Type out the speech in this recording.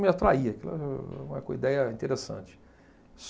Me atraía, aquilo era uma co ideia interessante.